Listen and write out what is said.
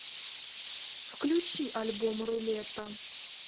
включи альбом рулета